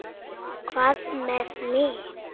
Hvað með mig?